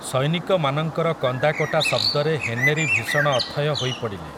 ସୈନିକମାନଙ୍କର କନ୍ଦାକଟା ଶବ୍ଦରେ ହେନେରୀ ଭୀଷଣ ଅଥୟ ହୋଇପଡ଼ିଲେ ।